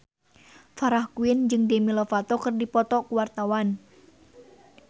Farah Quinn jeung Demi Lovato keur dipoto ku wartawan